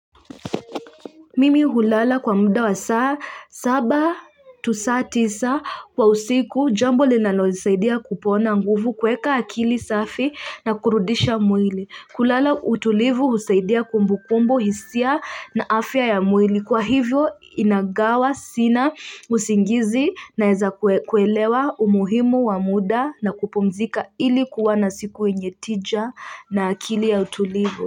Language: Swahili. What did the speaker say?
Mimi hulala kwa muda wa saa saba tu saa tisa kwa usiku jambo linalo nisaidia kupona nguvu kuweka akili safi na kurudisha mwili. Kulala utulivu husaidia kumbu kumbu hisia na afya ya mwili kwa hivyo inagawa sina usingizi na eza kuelewa umuhimu wa muda na kupumzika ilikuwa na siku yenyetija na akili ya utulivu.